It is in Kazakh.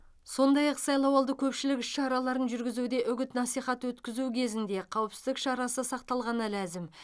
сондай ақ сайлауалды көпшілік іс шараларын жүргізуде үгіт насихат өткізу кезінде қауіпсіздік шарасы сақталғаны ләзім